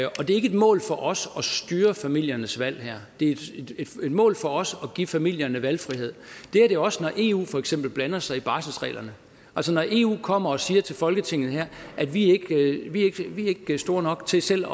og det er ikke et mål for os at styre familiernes valg her det er et mål for os at give familierne valgfrihed det er det også når eu for eksempel blander sig i barselsreglerne altså når eu kommer og siger til folketinget at vi ikke er store nok til selv